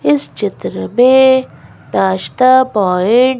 इस चित्र में पॉइंट --